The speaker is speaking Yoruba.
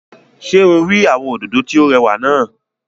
Ṣé o rí àwọn òdòdó tí ó rẹwà náà?